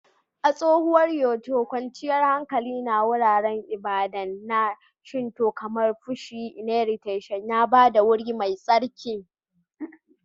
A tsohuwar Kyoto, kwanciyar hankali na wuraren ibada na Shinto kamar Fushimi Inari Taisha ya ba da wuri mai tsarki.